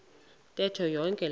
ntetho yonke loo